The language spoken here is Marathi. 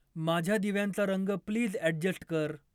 माझ्या दिव्यांचा रंग प्लीज अॅडजस्ट कर